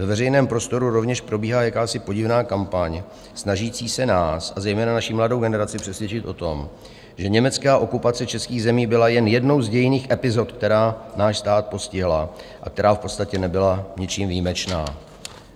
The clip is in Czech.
Ve veřejném prostoru rovněž probíhá jakási podivná kampaň, snažící se nás a zejména naši mladou generaci přesvědčit o tom, že německá okupace českých zemí byla jen jednou z dějinných epizod, která náš stát postihla a která v podstatě nebyla ničím výjimečná.